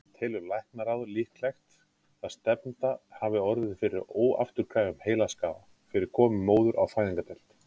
Telur læknaráð líklegt, að stefnda hafi orðið fyrir óafturkræfum heilaskaða fyrir komu móður á fæðingardeild?